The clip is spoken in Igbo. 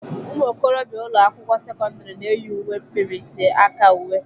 Ụmụ okorobịa ụlọ akwụkwọ sekọndrị na-eyi uwe mkpirisi aka uwe.